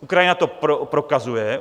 Ukrajina to prokazuje.